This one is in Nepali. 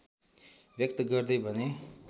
व्यक्त गर्दै भने